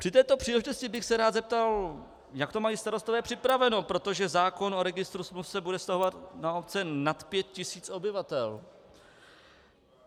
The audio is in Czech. Při této příležitosti bych se rád zeptal, jak to mají starostové připraveno, protože zákon o registru smluv se bude vztahovat na obce nad 5 tis. obyvatel.